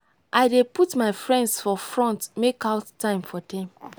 i dey put my friends for front make out time for dem.